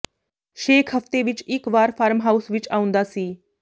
ਸ਼ੇਖ ਹਫਤੇ ਵਿਚ ਇਕ ਵਾਰ ਫਾਰਮ ਹਾਊਸ ਵਿਚ ਆਉਂਦਾ ਸੀ